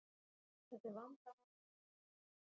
Þetta er vandamál í hnénu.